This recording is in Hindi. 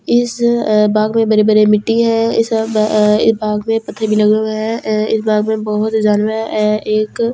इस अ बाग में बड़े बड़े मिट्टी हैं इस ब अ बाग में पत्थर भी लगे हुए हैं अ इस बाग में बहुत जानवर हैं अ एक हिरण --